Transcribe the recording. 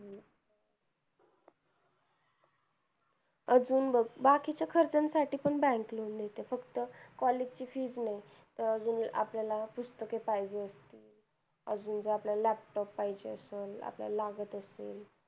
अजून बघ बाकीच्या खर्चांसाठी पण bank loan देते. फक्त college ची fees नाही. अजून आपल्याला पुस्तके पाहिजे अजून जर आपल्याला laptop पाहिजे असलं. आपल्याला लागत असेल.